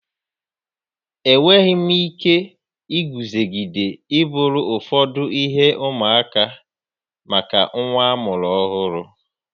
enweghị m ike iguzogide iburu ụfọdụ ihe ụmụaka maka nwa amụrụ ọhụrụ.